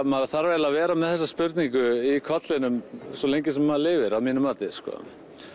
maður þarf eiginlega að vera með þessa spurningu í kollinum svo lengi sem maður lifir að mínu mati sko